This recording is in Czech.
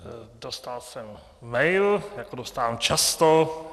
Dostal jsem mail, jako dostávám často.